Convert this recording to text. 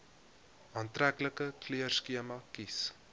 aantreklike kleurskema kies